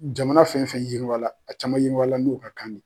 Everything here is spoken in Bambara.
Jamana fɛn fɛn yiriwala a caman yiriwala n'o ka kan de ye.